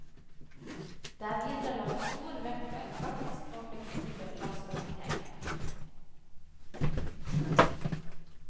Det er videre lagt stor vekt på en praktisk og fleksibel lastehåndtering.